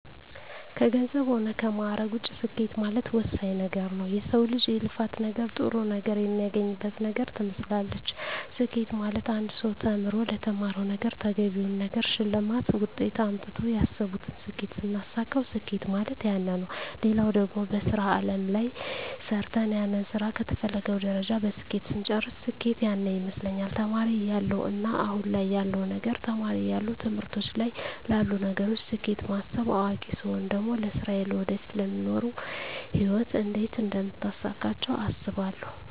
ከገንዘብ ሆነ ከማእረግ ውጭ ስኬት ማለት ወሳኝ ወሳኝ ነገረ ነዉ የሰው ልጅ የልፋት ነገር ጥሩ ነገር የሚያገኝበት ነገር ትመስላለች ስኬት ማለት አንድ ሰው ተምሮ ተምሮ ለተማረዉ ነገረ ተገቢውን ነገር ሸልማት ውጤት አምጥተው ያሰብቱን ስኬት ስናሳካዉ ስኬት ማለት ያነ ነዉ ሌላው ደግሞ በሥራ አለም ላይ ሰርተ ሰርተን ያንን ስራ ከተፈለገዉ ደረጃ በስኬት ስንጨርስ ስኬት ያነ ይመስለኛል ተማሪ እያለው እና አሁን ያለዉ ነገር ተማሪ እያለው ትምህርቶች ላይ ላሉ ነገሮች ስኬት ማስብ አዋቂ ስቾን ደግሞ ለስራየ ለወደፊቱ ለሚኖሩ ህይወት እንዴት አደምታሳካቸው አስባለሁ